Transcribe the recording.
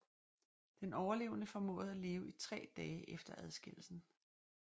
Den overlevende formåede at leve i tre dage efter adskillelsen